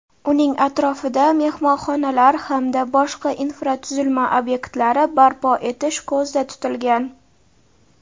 uning atrofida mehmonxonalar hamda boshqa infratuzilma ob’ektlari barpo etish ko‘zda tutilgan.